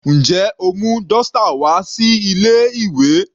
Njẹ́ o mú dọ́stà wá sí ilé ìwé?